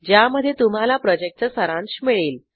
ज्यामध्ये तुम्हाला प्रॉजेक्टचा सारांश मिळेल